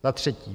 Za třetí.